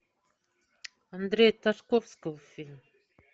андрея тарковского фильм